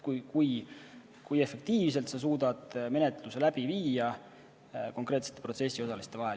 See, kui efektiivselt nad suudavad menetluse läbi viia konkreetsete protsessiosaliste vahel.